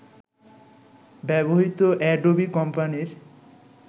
ব্যবহৃত অ্যাডোবি কোম্পানির